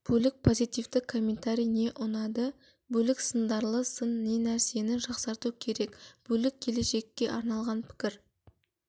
бөлік позитивті комментарий не ұнады бөлік сындарлы сын не нәрсені жақсарту керек бөлік келешекке арналған пікір